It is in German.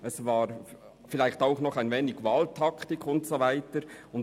Es war vielleicht auch etwas der Wahlkampftaktik zuzuschreiben.